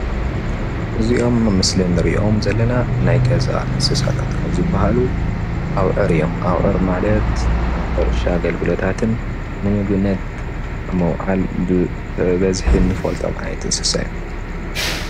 እዚ ምስሊ ምሰ ደቂ ሰባት ዝነብሩ እንስሳ እንትኾኑ ንሕርሻን ንምሕራስን ንሰጋን እንጠቀመሎም ኣዋዕር እዮም።